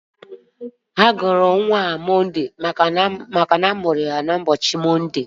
A gọrọ nwa ahụ Mọnde maka na a mụrụ ya n'ụbọchị Mọnde.